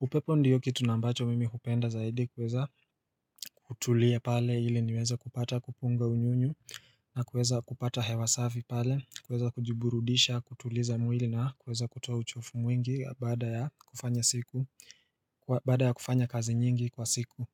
upepo ndiyo kitu na ambacho mimi hupenda zaidi kuweza hutulia pale ili niweze kupata kupunga unyunyu na kuweza kupata hewa safi pale kuweza kujiburudisha kutuliza mwili na kuweza kutoa uchofu mwingi baada ya kufanya siku baada ya kufanya kazi nyingi kwa siku.